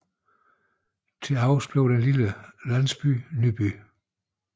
Til overs blev den lille landsby Nyby